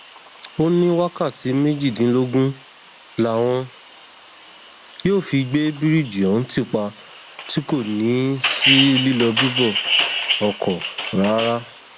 ó ní wákàtí méjìdínlógún làwọn yóò fi gbé bíríìjì ohun ti pa tí kò ní í sí lílọbíbọ ọkọ rárá